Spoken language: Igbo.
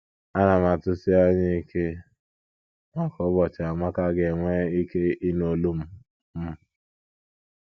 Ana m atụsi anya ike maka ụbọchị Amaka ga - enwe ike ịnụ olu m. m.